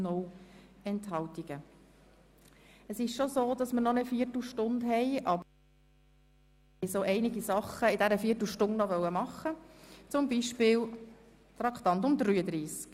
Wir haben zwar noch eine Viertelstunde Zeit, aber ich wollte währenddessen noch so einiges erledigen, zum Beispiel das Traktandum 33.